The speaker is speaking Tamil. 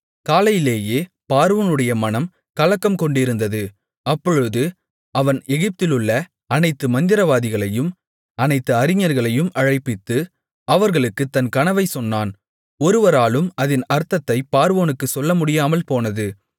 காலையிலேயே பார்வோனுடைய மனம் கலக்கம் கொண்டிருந்தது அப்பொழுது அவன் எகிப்திலுள்ள அனைத்து மந்திரவாதிகளையும் அனைத்து அறிஞர்களையும் அழைப்பித்து அவர்களுக்குத் தன் கனவைச் சொன்னான் ஒருவராலும் அதின் அர்த்தத்தைப் பார்வோனுக்குச் சொல்ல முடியாமல் போனது